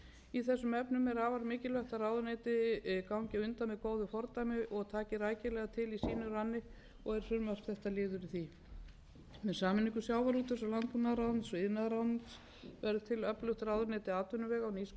í þessum efnum er afar mikilvægt að ráðuneyti gangi á undan með góðu fordæmi og taki rækilega til í sínum ranni og er frumvarp þetta liður í því með sameiningu iðnaðarráðuneytis og sjávarútvegs og landbúnaðarráðuneytis verður til öflugt ráðuneyti atvinnuvega og nýsköpunar þar